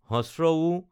উ